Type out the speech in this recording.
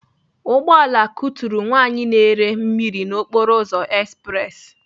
Ugbọala kuturu nwaanyị na-ere mmiri na okporoụzọ espressi.